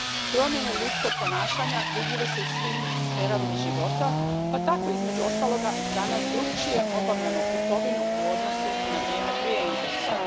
Promjene ljudskog ponašanja vidljive su u svim sferama života pa tako, između ostaloga, danas drukčije obavljamo kupovinu u odnosu na vrijeme prije interneta.